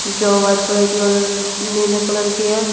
जो white colour की और नीले कलर की है।